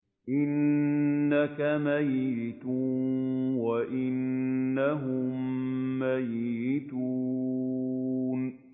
إِنَّكَ مَيِّتٌ وَإِنَّهُم مَّيِّتُونَ